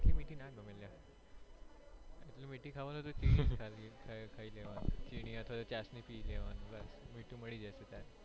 આટલી મીઠી મીઠી ના ગમે અલ્યા એટલી મીઠી ખાવાની તો ચીની ખાઈ લેવાની ચીની અથવા ચાસણી પી લેવાની મીઠું મળી જશે ત્યારે